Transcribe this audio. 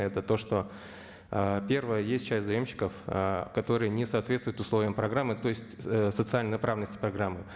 это то что ыыы первое есть часть заемщиков ы которые не соответсвуют условиям программы то есть социальной направленности программы